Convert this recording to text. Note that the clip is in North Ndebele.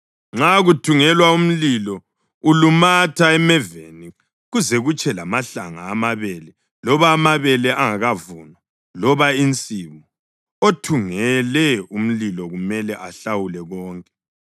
Nxa kuthungelwa umlilo ulumatha emeveni kuze kutshe lamahlanga amabele loba amabele angakavunwa loba insimu, othungele umlilo kumele ahlawule konke.